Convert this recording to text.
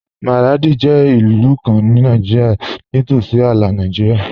Maradi jẹ ilù kàn ní Nàìjírìà, ní tósí àlà Nàìjírìà.